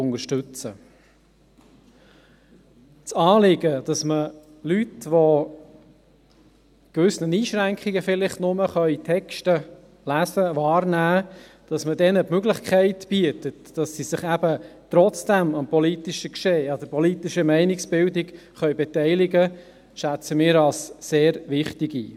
Das Anliegen, dass man Leuten, die Texte vielleicht nur mit gewissen Einschränkungen lesen, wahrnehmen können, die Möglichkeit bietet, dass sie sich eben trotzdem am politischen Geschehen, an der politischen Meinungsbildung beteiligen können, schätzen wir als sehr wichtig ein.